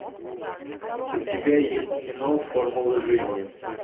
у тебя есть кино формулы жизни